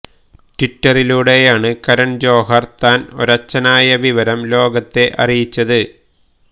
ട്വിറ്ററിലൂടെയാണ് കരണ് ജോഹര് താന് ഒരച്ഛനായ വിവരം ലോകത്തെ അറിയിച്ചത്